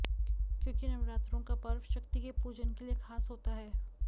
क्योंकि नवरात्रों का पर्व शक्ति के पूजन के लिए खास होता है